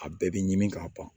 A bɛɛ bɛ ɲimi ka ban